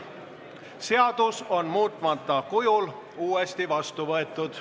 Seadus on muutmata kujul uuesti vastu võetud.